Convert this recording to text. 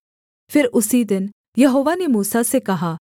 फिर उसी दिन यहोवा ने मूसा से कहा